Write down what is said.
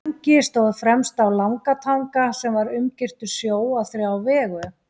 Tangi stóð fremst á Langatanga sem var umgirtur sjó á þrjá vegu.